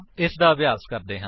ਇਸਦਾ ਅਭਿਆਸ ਕਰਦੇ ਹਾਂ